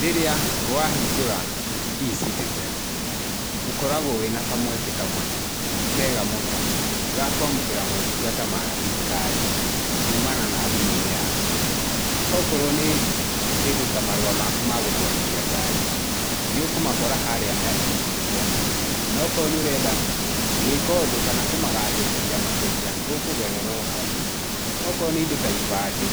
Rĩrĩa wahingũra eCitizen, ũkoragwo wĩna kamweke kamwe kega mũno ga kũamũkĩra motungata ma thirikari kumana na thimũ-inĩ yaku, okorwo nĩ kĩndũ ta marũa maku ma gũtwarithia ngari, nĩũkũmakora harĩa ha eCitizen, nokorwo nĩ ũrenda gwĩka ũndũ kana kũmagacĩrithia makĩria, ũkũgerera o hau. Okorwo nĩ indo ta ibandĩ,